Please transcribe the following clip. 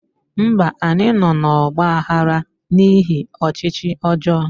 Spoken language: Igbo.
Mba anyị nọ n'ọgba aghara n'ihi ọchịchị ọjọọ